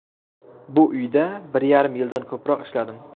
Bu uyda bir yarim yildan ko‘proq ishladim.